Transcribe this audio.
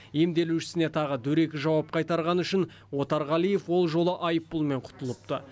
емделушісіне тағы дөрекі жауап қайтарғаны үшін отарғалиев ол жолы айыппұлмен құтылыпты